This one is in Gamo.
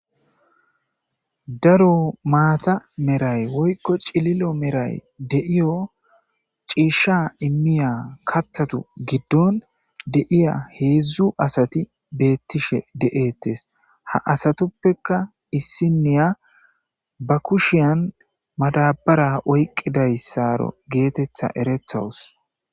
daro maata meray woykko cililo meray deiyo ciisha immiya kathatu giddon deiya heedzdzu asati beettishe de7ettes ha asatuppeka issiniya ba kushiyan madabara oyqqiday saaro geetetha eretawus